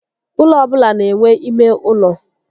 Ụlọ ọbụla n'enwe ímé ụlọ